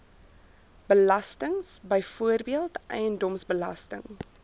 belastings byvoorbeeld eiendomsbelasting